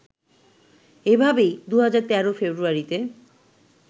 এভাবেই ২০১৩ ফেব্রুয়ারিতে